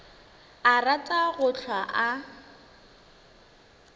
a rata go hlwa a